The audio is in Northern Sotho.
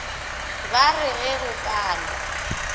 ba re ge go pala